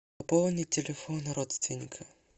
пополнить телефон родственника